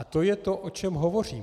A to je to, o čem hovořím.